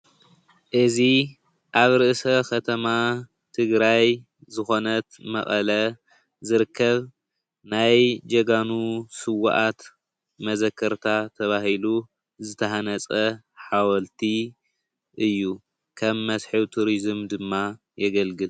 እዚ ኣብ ርእሰ ከተማ ትግራይ ዝኾነት መቐለ ዝርከብ ናይ ጀጋኑ ስዉኣት መዘከርታ ተባሂሉ ዝተሃነፀ ሓወልቲ እዩ፡፡ ከም መስሕብ ቱሪዝም ድማ የገልግል፡፡